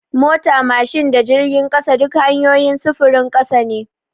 Mota, mashin da jirgin ƙasa duk hanyoyin sufurin ƙasa ne.